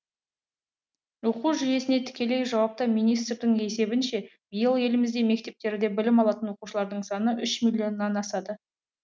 оқу жүйесіне тікелей жауапты министрдің есебінше биыл елімізде мектептерде білім алатын оқушылардың саны үш миллионнан асады